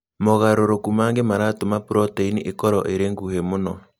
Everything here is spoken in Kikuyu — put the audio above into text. Mogarũrũku mangĩ maratũma proteini ĩkorũo ĩrĩ nguhĩ mũno.